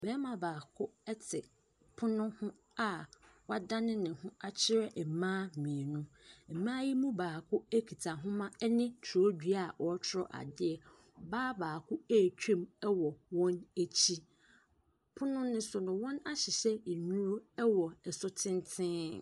Barima baako te pono ho a wadane ne ho akyerɛ mmaa mmienu. Mmaa yi mu baako kita nwoma ne twerɛdua a ɔretwerɛ adeɛ. Baa baako retwam wɔ wɔn akyi. Pono no so no, wɔahyehyɛ nnuro wɔ so tenten.